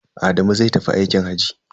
Adamu zai tafi aikin hajji.